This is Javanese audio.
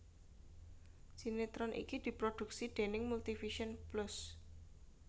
Sinetron iki diproduksi déning Multivision Plus